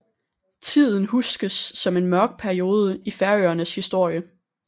Tiden huskes som en mørk periode i Færøernes historie